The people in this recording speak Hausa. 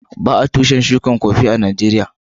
Ba'a shukin tushin Kofi a'Nijeriya.